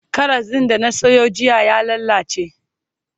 Karas din da na Sayo jiya ya lallace